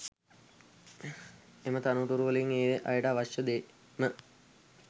එම තනතුරැවලින් ඒ අයට අවශ්‍ය ෙද්ම